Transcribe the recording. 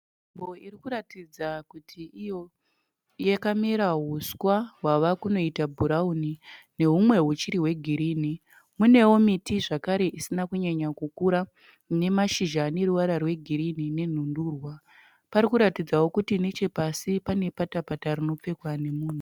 Nzvimbo iri kuratidza kuti iyo yakamera huswa hwawa kunoita bhurauni nehumwe huchiri hwegirini. Kunewo miti zvakare isina kunyanya kukura ine mashizha ane ruvara rwegirini nenhundurwa. Parikuratidzawo kuti nechepasi pane patapata rinopfekwa nemunhu